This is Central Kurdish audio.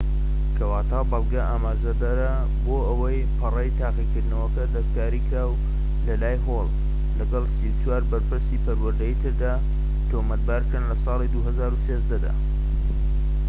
کەواتە بەڵگە ئاماژەدەرە بۆ ئەوەی پەڕەی تاقیکردنەوەکە دەستکاریکراوە لەلای هۆڵ، لەگەڵ ٣٤ بەرپرسی پەروەردەیی تردا، تۆمەتبارکران لە ساڵی ٢٠١٣ دا